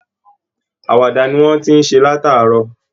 Àwàdà ni wọ́n ti ǹ ṣe látàárọ̀